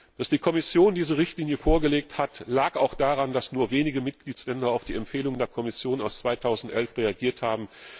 Dass die Kommission diese Richtlinie vorgelegt hat, lag auch daran, dass nur wenige Mitgliedstaaten auf die Empfehlungen der Kommission aus dem Jahr 2011 reagiert haben.